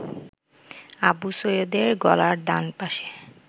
আবু সৈয়দের গলার ডানপাশে